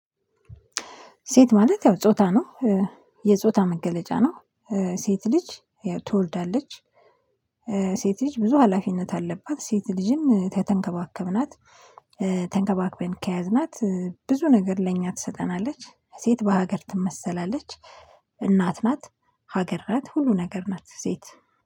ሴት ማለት ያው ጾታ ነው። የጾታ መገለጫ ነው። ሴት ልጅ ትወልዳለች። ሴት ልጅ ብዙ ሀላፊነት አለባት ሴት ልጅም ከተንከባከብናት ተንከባክበን ከያዝናት ብዙ ነገር ለእኛ ትሰጠናለች። ሴት በሀገር ትመሰላለች። እናት ናት። ሀገር ናት ሁሉ ነገር ናት ሴት